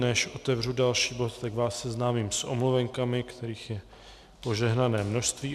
Než otevřu další bod, tak vás seznámím s omluvenkami, kterých je požehnané množství.